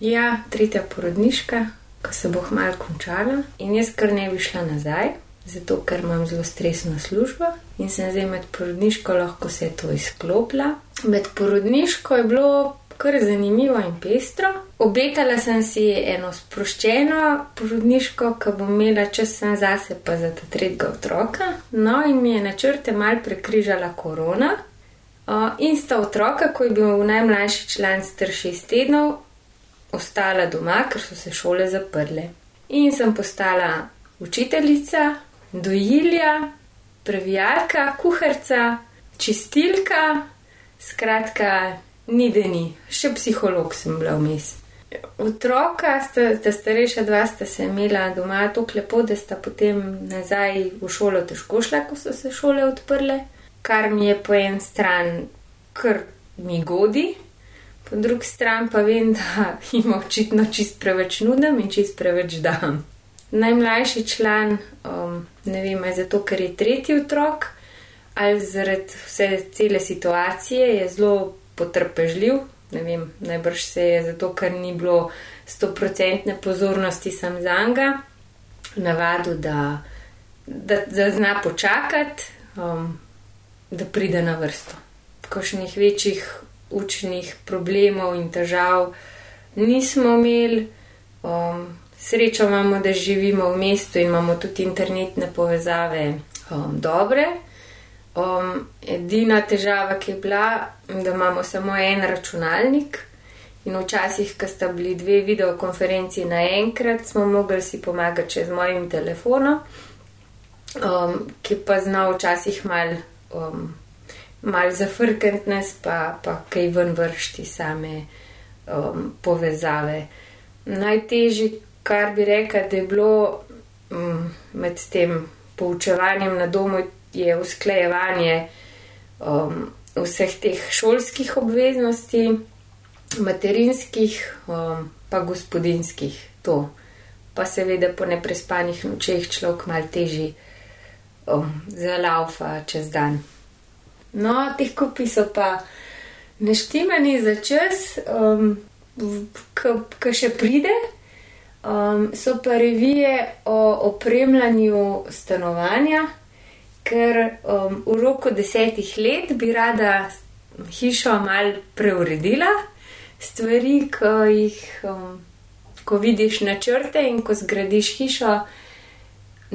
Ja, tretja porodniška, ke se bo kmalu končala, in jaz kar ne bi šla nazaj, zato, ker imam zelo stresno službo in sem zdaj med porodniško lahko vse to izklopila. Med porodniško je bilo kar zanimivo in pestro. Obetala sem si eno sproščeno porodniško, ko bom imela čas samo zase pa za ta tretjega otroka. No, in je načrte malo prekrižala korona, in sta otroka, ko je bil najmlajši član star šest tednov, ostala doma, ker so se šole zaprle. In sem postala učiteljica, dojilja, previjalka, kuharica, čistilka, skratka ni, da ni. Še psiholog sem bila vmes. Otroka, ta starejša dva, sta se imela doma tako lepo, da sta potem nazaj v šolo težko šla, ko so se šole odprle, kar mi je po eni strani kar mi godi, po drugi strani pa vem, da jima očitno čisto preveč nudim in čisto preveč dam. Najmlajši član, ne vem, a zato, ker je tretji otrok ali zaradi vse, cele situacije je zelo potrpežljiv. Ne vem, najbrž se je zato, ker ni bilo stoprocentne pozornosti samo zanj, navadil, da da, da zna počakati, da pride na vrsto. Kakšnih večjih učnih problemov in težav nismo imeli. srečo imamo, da živimo v mestu in imamo tudi internetne povezave, dobre. edina težava, ki je bila, da imamo samo en računalnik, in včasih, ko sta bili dve videokonferenci naenkrat, smo mogli si pomagati še z mojim telefonom, ki pa zna včasih malo, malo zafrkniti nas pa, pa kaj ven vreči iz same, povezave. Najtežji, kar bi rekla, da je bilo, med tem poučevanjem na domu, je usklajevanje, vseh teh šolskih obveznosti, materinskih, pa gospodinjskih. To. Pa seveda po neprespanih nočeh človek malo težje, zalavfa čez dan. No, ti kupi so pa naštimani za čas, ke, ke še pride, so pa revije o opremljanju stanovanja, kar, v roku desetih let bi rada hišo malo preuredila. Stvari, ke jih, ko vidiš načrte in ko zgradiš hišo,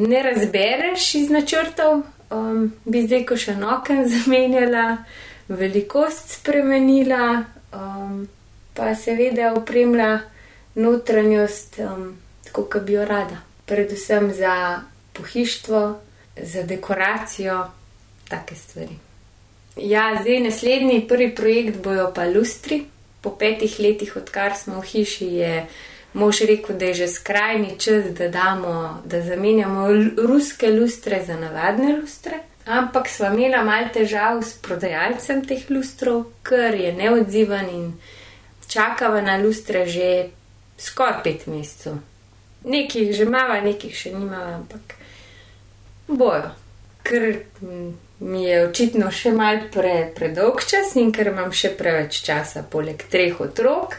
ne razbereš iz načrtov. bi zdaj kakšno okno zamenjala, velikost spremenila, pa seveda opremila notranjost tako, ke bi jo rada. Predvsem za pohištvo, z dekoracijo. Take stvari. Ja, zdaj naslednji, prvi projekt bojo pa lustri. Pol petih letih, odkar smo v hiši, je mož rekel, da je že skrajni čas, da damo, da zamenjamo ruske lustre za navadne lustre. Ampak sva imela malo težav s prodajalcem teh lustrov, ker je neodziven, in čakala na lustre že skoraj pet mesecev. Nekaj jih že imava, nekaj jih še nimava, ampak bojo. Ker, mi je očitno še malo predolgčas in ker imam še preveč časa poleg treh otrok,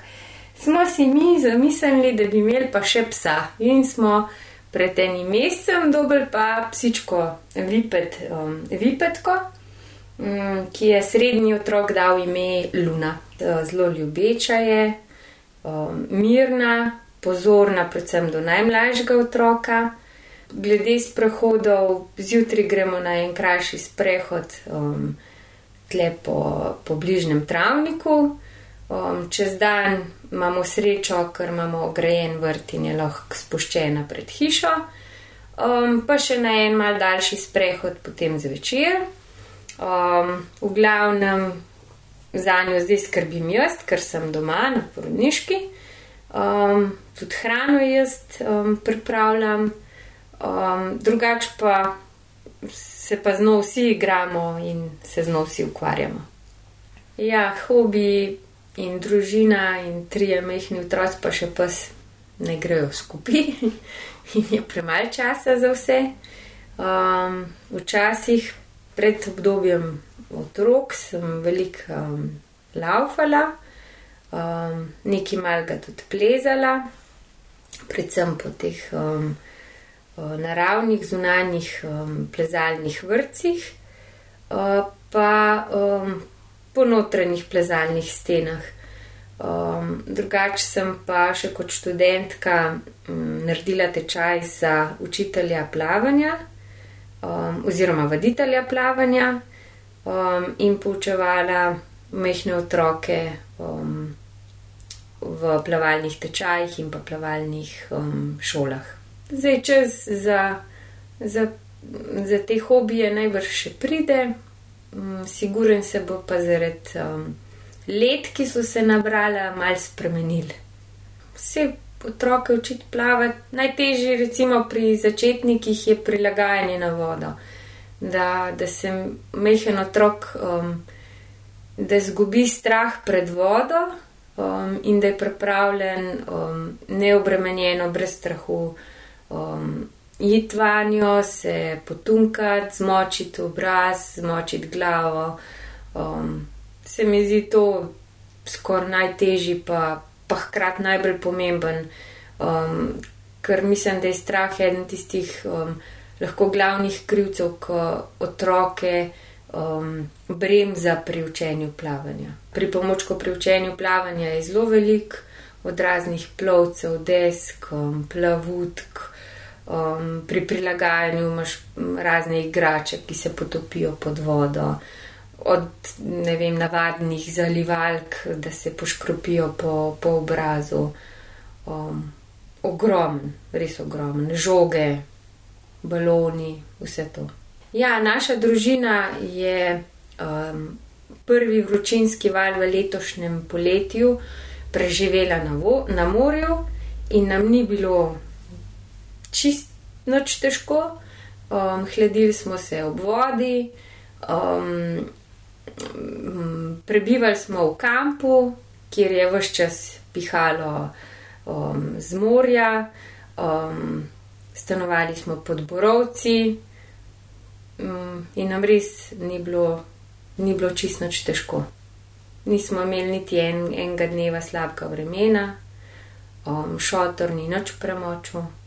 smo si mi zamislili, da bi imeli pa še psa. In smo pred enim mescem dobili pa psičko vipetko, ki ji je srednji otrok dal ime Luna. zelo ljubeča je, mirna, pozorna predvsem do najmlajšega otroka. Glede sprehodov, zjutraj gremo na en krajši sprehod, tule po, po bližnjem travniku, čez dan imamo srečo, ker imamo ograjen vrt in je lahko spuščena pred hišo, pa še na en malo daljši sprehod potem zvečer. v glavnem zanjo zdaj skrbim jaz, kar sem doma na porodniški, tudi hrano ji jaz, pripravljam. drugače pa se pa z njo vsi igramo in se z njo vsi ukvarjamo. Ja, hobiji in družina in trije majhni otroci pa še pes ne grejo skupaj. Je premalo časa za vse. včasih pred obdobjem otrok sem veliko, lavfala, nekaj malega tudi plezala, predvsem po teh, naravnih zunanjih, plezalnih vrtcih, pa, po notranjih plezalnih stenah. drugače sem pa še kot študentka, naredila tečaj za učitelja plavanja, oziroma vaditelja plavanja, in poučevala majhne otroke, v plavalnih tečajih in pa plavalnih, šolah. Zdaj, čas za, za, za te hobije najbrž še pride, sigurno se bo pa zaradi, let, ki so se nabrala, malo spremenil. Saj, otroke učiti plavati, najtežje recimo pri začetnikih je prilagajanje na vodo. Da, da se malo otrok, da izgubi strah pred vodo, in da je pripravljen, neobremenjeno, brez strahu, iti vanjo, se potunkati, zmočiti obraz, zmočiti glavo, se mi zdi to skoraj najtežje pa, pa hkrati najbolj pomembno, ker mislim, da je strah eden tistih, lahko glavnih krivcev, ke otroke, bremza pri učenju plavanja. Pripomočkov pri učenju plavanja je zelo veliko. Od raznih plovcev, desk, plavutk, pri prilagajanju imaš razne igrače, ki se potopijo pod vodo. Od, ne vem, navadnih zalivalk, da se poškropijo po, po obrazu, ogromno, res ogromno. Žoge, baloni, vse to. Ja, naša družina je, prvi vročinski val v letošnjem poletju preživela na na morju in nam ni bilo čisto nič težko. hladili smo se ob vodi, prebivali smo v kampu, kjer je ves čas pihalo, z morja. stanovali smo pod borovci, in nam res ni bilo, ni bilo čisto nič težko. Nismo imeli niti enega dneva slabega vremena, šotor ni nič premočil.